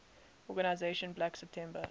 organization black september